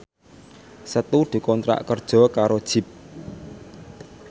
Setu dikontrak kerja karo Jeep